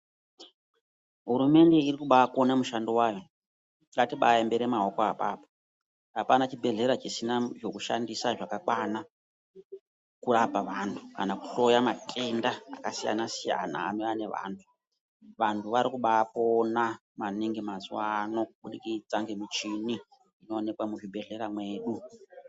Hurumende iri kubakona mushando wayo ngatimboaembera maoko pona apapo, apana chibhehlera chisina zvakakwana kurapa vantu kana kuhloya matenda yakasiyana siyana anouya nevantu vantu varikubapona maningi mazuwa ano kuburikidza ngemichini inouya muzvibhehlera mwedu.